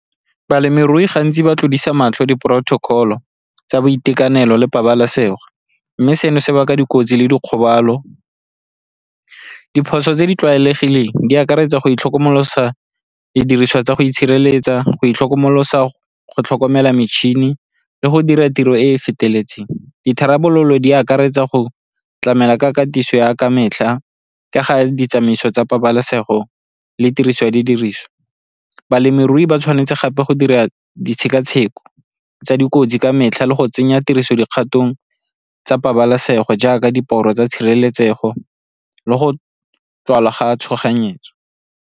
Balemirui gantsi ba tlodisa matlho di-protocol-o tsa boitekanelo le pabalesego, mme seno se baka dikotsi le dikgobalo. Diphoso tse di tlwaelegileng di akaretsa go itlhokomolosa didiriswa tsa go itshireletsa, go itlhokomolosa, go tlhokomela metšhini le go dira tiro e e feteletseng. Ditharabololo di akaretsa go tlamela ka katiso ya ka metlha ka ga ditsamaiso tsa pabalesego le tiriso ya didiriswa. Balemirui ba tshwanetse gape go dira ditshekatsheko tsa dikotsi ka metlha le go tsenya tiriso dikgatong tsa pabalesego jaaka diporo tsa tshireletsego le go tswala ga tshoganyetso.